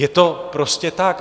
Je to prostě tak.